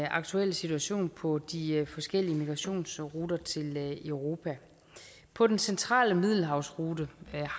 aktuelle situation på de forskellige migrationsruter til europa på den centrale middelhavsrute